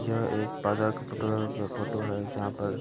यह एक बाज़ार का फोटो है। अ फोटो है जहाँ पर --